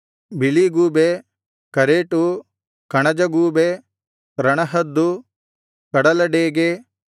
ಬಿಳಿಗೂಬೆ ಕರೇಟು ಕಣಜ ಗೂಬೆ ರಣಹದ್ದು ಕಡಲ ಡೇಗೆ